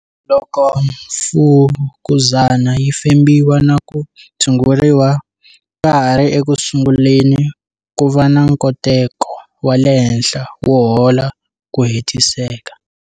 Loko mfukuzana yi fembiwa na ku tshunguriwa ka ha ri ekusunguleni, ku va na nkoteko wa le henhla wo hola hi ku hetiseka.